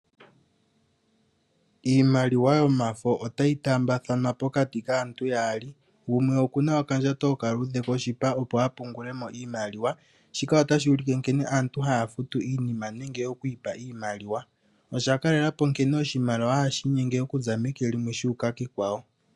Iimaliwa yomafo otayi taambathanwa pokati kaantu yaali, gumwe okuna okandjato okaluudhe koshipa opo apungulemo iimaliwa, shika otashi ulike nkene aantu haya futu iinima nenge okwiipa iimaliwa. Osha kalelapo nkene oshimaliwa hashi inyenge okuza meke limwe shuuka kekwawo.